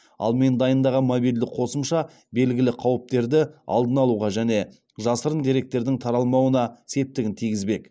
ал мен дайындаған мобильді қосымша белгілі қауіптерді алдын алуға және жасырын деректердің таралмауына септігін тигізбек